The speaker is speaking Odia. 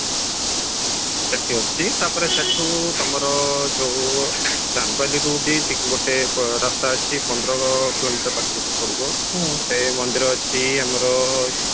ସେଠି ଅଛି ତାପରେ ସେଠୁ ତମର ଯଉ ଚାନ୍ଦବାଲିରୁ ବି ଗୋଟେ ରାସ୍ତା ଅଛି ପନ୍ଦର କିଲୋମିଟର ପାଖାପାଖି ପଡିବ ଗୋଟେ ମନ୍ଦିର ଅଛି ଆମର